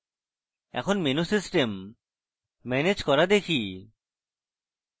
এখন menu system manage করা দেখি